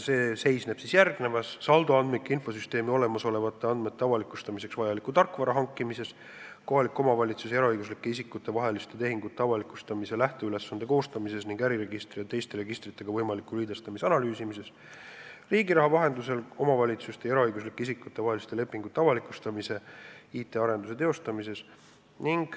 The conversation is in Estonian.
See seisneb järgnevas: saldoandmike infosüsteemi olemasolevate andmete avalikustamiseks vajaliku tarkvara hankimine, kohaliku omavalitsuse ja eraõiguslike isikute vaheliste tehingute avalikustamise lähteülesande koostamine ning äriregistri ja teiste registritega võimaliku liidestamise analüüsimine, Riigiraha vahendusel omavalitsuste ja eraõiguslike isikute vaheliste lepingute avalikustamiseks IT-arenduse teostamine.